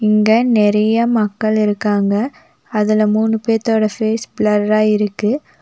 இங்க நெறைய மக்கள் இருக்காங்க அதுல மூணு பேத்தோட ஃபேஸ் பிளர்ரா இருக்கு.